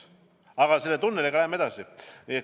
Aga selle tunneliga lähme edasi.